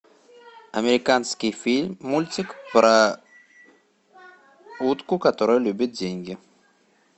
американский фильм мультик про утку которая любит деньги